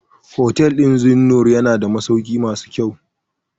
Hotel ɗin Zeennoor yana da masaukai masu kyau.